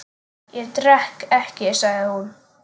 Ég drekk ekki, sagði hún.